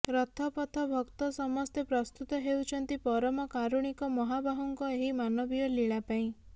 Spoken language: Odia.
ରଥ ପଥ ଭକ୍ତ ସମସ୍ତେ ପ୍ରସ୍ତୁତ ହେଉଛନ୍ତି ପରମକାରୁଣିକ ମହାବାହୁଙ୍କ ଏହି ମାନବୀୟ ଲୀଳା ପାଇଁ